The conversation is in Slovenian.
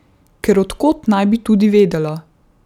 Ker od kod naj bi tudi vedela?